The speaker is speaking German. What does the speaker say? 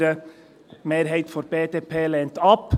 Die Mehrheit der BDP lehnt ab.